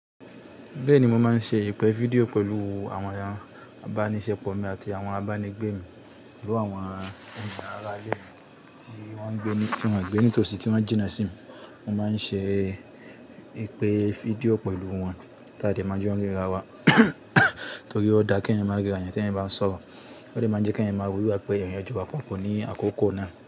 Bẹ́ẹ̀ni, mo máa ń ṣe ìpè fídíò pẹ̀lú àwọn eeyan abánisẹ́pọ̀ mi àti àwọn abánigbé mi, pẹ̀lú àwọn gbogbo ará ilé mi tí wọ́n o gbé nítòsí tí wọ́n jina sí mi. Mo máa ń ṣe ìpè fídíò pẹ̀lú wọn kí a dè má jon n ríra wa, torí ó dáa kí ẹ̀yin máa ríra yẹn tí ẹ̀eyan bá n sọ̀rọ̀. Ó dè máa jẹ́ kí ẹ̀yin máa ro bi igba pé ẹ̀eyan ti wa papọ̀ ní àkókò náà.